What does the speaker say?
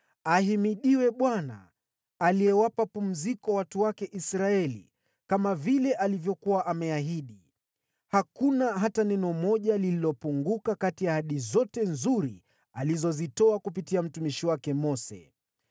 “Ahimidiwe Bwana , aliyewapa pumziko watu wake Israeli kama vile alivyokuwa ameahidi. Hakuna hata neno moja lililopunguka kati ya ahadi zote nzuri alizozitoa kupitia mtumishi wake Mose.